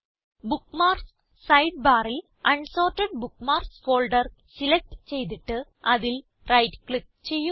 bookmarks side ബാറിൽ unsorted bookmarks folder select ചെയ്തിട്ട് അതിൽ റൈറ്റ് ക്ലിക്ക് ചെയ്യുക